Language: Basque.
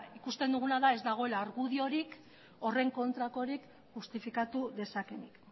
ikusten duguna da ez dagoela argudiorik horren kontrakorik justifikatu dezakeenik